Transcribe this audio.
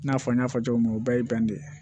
I n'a fɔ n y'a fɔ cogo min na o bɛɛ ye bɛn de ye